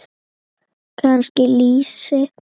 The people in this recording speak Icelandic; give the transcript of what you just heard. Kannski lýsi?